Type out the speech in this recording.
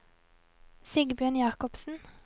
Sigbjørn Jakobsen